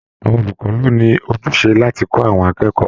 Àwọn olùkọ ló ní ojúṣe láti kọ àwọn akẹ́kọ̀ọ́.